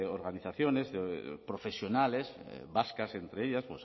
organizaciones profesionales vascas entre ellas